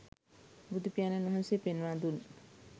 බුදුපියාණන් වහන්සේ පෙන්වා දුන්